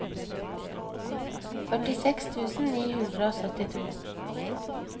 førtiseks tusen ni hundre og syttito